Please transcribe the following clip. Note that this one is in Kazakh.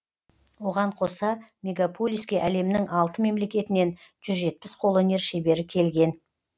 оған қоса мегаполиске әлемнің алты мемлекетінен жүз жетпіс қолөнер шебері келген